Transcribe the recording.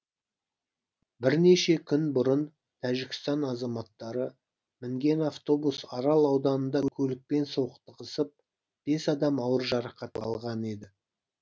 бірнеше күн бұрын тәжікстан азаматтары мінген автобус арал ауданында көлікпен соқтығысып бес адам ауыр жарақат алған еді